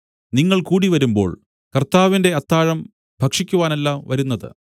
നിങ്ങൾ കൂടിവരുമ്പോൾ കർത്താവിന്റെ അത്താഴം ഭക്ഷിക്കുവാനല്ല വരുന്നത്